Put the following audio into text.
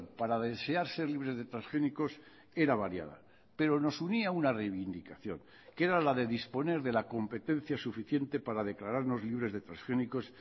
para desear ser libres de transgénicos era variada pero nos unía una reivindicación que era la de disponer de la competencia suficiente para declararnos libres de transgénicos